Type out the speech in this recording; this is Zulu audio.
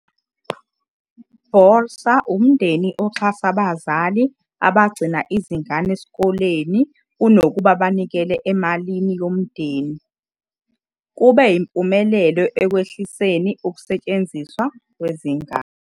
Bolsa umndeni oxhasa abazali abagcina izingane esikoleni kunokuba banikele emalini yomndeni, kube impumeleloekwehliseniukusetshenziswa kwezingane.